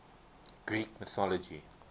greek mythology